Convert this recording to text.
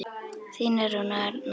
Þínar Rúna og Arna.